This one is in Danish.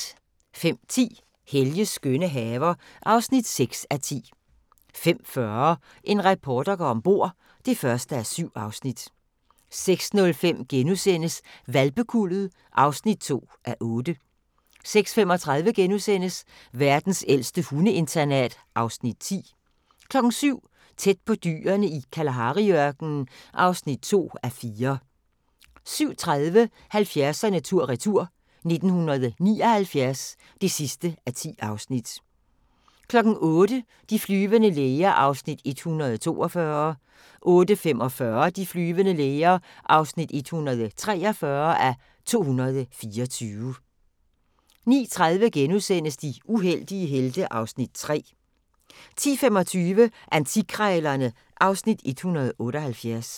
05:10: Helges skønne haver (6:10) 05:40: En reporter går om bord (1:7) 06:05: Hvalpekuldet (2:8)* 06:35: Verdens ældste hundeinternat (Afs. 10)* 07:00: Tæt på dyrene i Kalahari-ørkenen (2:4) 07:30: 70'erne tur-retur: 1979 (10:10) 08:00: De flyvende læger (142:224) 08:45: De flyvende læger (143:224) 09:30: De uheldige helte (Afs. 3)* 10:25: Antikkrejlerne (Afs. 178)